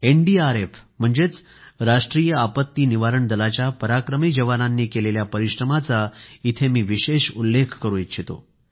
NDRF म्हणजेच राष्ट्रीय आपत्ती निवारण दलाच्या पराक्रमी जवानांनी केलेल्या परिश्रमाचा इथं विशेष उल्लेख करू इच्छितो